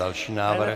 Další návrh.